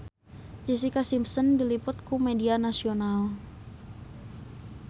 Jessica Simpson diliput ku media nasional